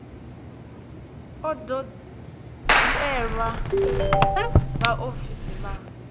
a do dzhielwa vhaofisi vha